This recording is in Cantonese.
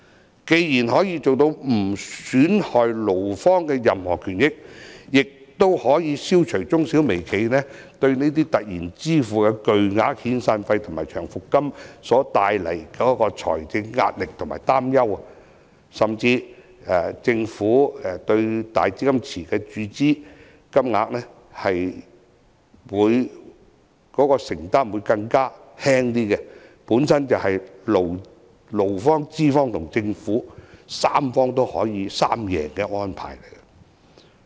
這方案既可以做到不損害勞方的任何權益，亦可以消除中小微企對突然支付的巨額遣散費和長期服務金所帶來的財政壓力和擔憂，甚至政府對"大基金池"的注資金額的承擔亦會更輕，本身就是勞方、資方及政府的三贏安排。